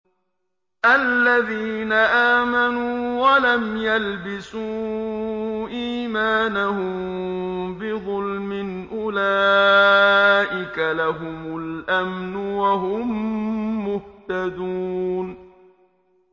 الَّذِينَ آمَنُوا وَلَمْ يَلْبِسُوا إِيمَانَهُم بِظُلْمٍ أُولَٰئِكَ لَهُمُ الْأَمْنُ وَهُم مُّهْتَدُونَ